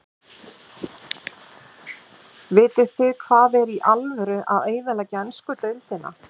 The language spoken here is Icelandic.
Vitið þið hvað er í alvöru að eyðileggja ensku deildina?